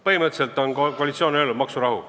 Põhimõtteliselt on koalitsioon öelnud: meil on maksurahu.